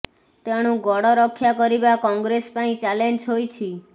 ତେଣୁ ଗଡ ରକ୍ଷା କରିବା କଂଗ୍ରେସ ପାଇଁ ଚ୍ୟାଲେଞ୍ଜ ହୋଇଛି